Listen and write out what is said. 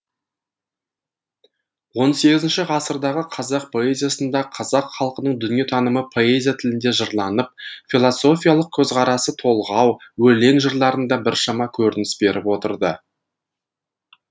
он сегізінші ғасырдағы қазақ поэзиясында қазақ халқының дүниетанымы поэзия тілінде жырланып философиялық көзқарасы толғау өлең жырларында біршама көрініс беріп отырды